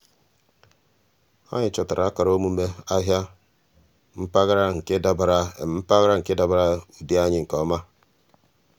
ànyị́ chọ́tàrà ákàrà ọ́mụ́mé n’áhị́à mpaghara nke dabara mpaghara nke dabara ụ́dị́ anyị́ nke ọma.